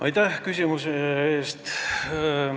Aitäh küsimuse eest!